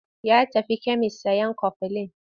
Ya tafi kemis sayan kofilin.